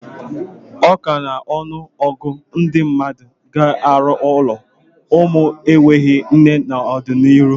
Ọka n'ọnụ ọgụ ndị mmadụ ga-arụ ụlọ ụmụ enweghị nne n'ọdịnihu.